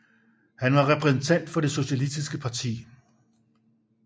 Han var repræsentant for Det Socialistiske Parti